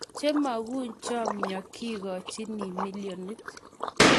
che mukuchomyo kekochini milionit